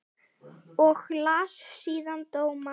Og las síðan dóma.